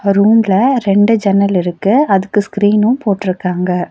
ரூம்ல ரெண்டு ஜன்னல் இருக்கு அதுக்கு ஸ்கிரீனு போட்ருக்காங்க.